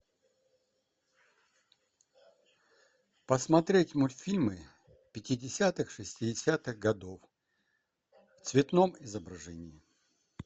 посмотреть мультфильмы пятидесятых шестидесятых годов в цветном изображении